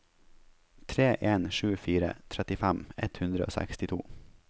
tre en sju fire trettifem ett hundre og sekstito